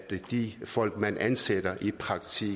de folk man ansætter i praktik